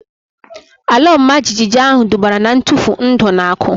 Ala ọma jijiji ahu dubara na ntufu ndụ na akụ